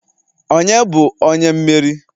onye bu onye mmeri?